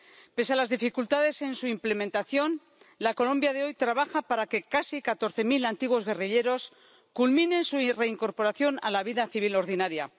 Pese a las dificultades en su implementación, la Colombia de hoy trabaja para que casi catorce mil antiguos guerrilleros culminen su reincorporación a la vida civil ordinaria.